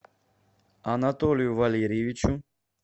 анатолию валерьевичу